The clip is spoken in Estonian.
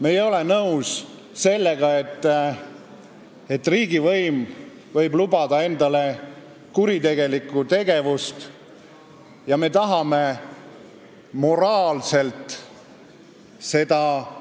Me ei ole nõus sellega, et riigivõim võib lubada endale kuritegelikku tegevust, ja me tahame moraalselt seda